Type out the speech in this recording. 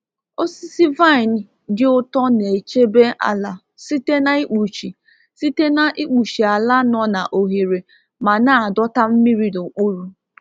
Osisi vine dị ụtọ na-echebe ala site na ikpuchi site na ikpuchi ala nọ na ohere ma na-adọta mmiri n'okpuru.